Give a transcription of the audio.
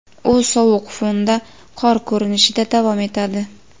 u sovuq fonda qor ko‘rinishida davom etadi.